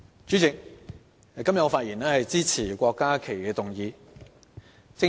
主席，我今天發言支持郭家麒議員的議案。